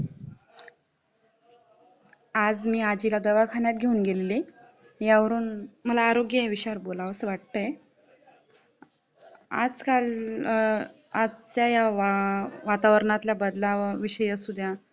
आज मी आजीला दवाखान्यात घेऊन गेलेली यावरून मला आरोग्य या विषयावर बोलावसं वाटतय आजकाल आजच्या ह्या वातावरणातल्या बदलावा विषयी असुद्या